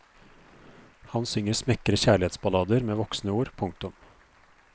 Han synger smekre kjærlighetsballader med voksne ord. punktum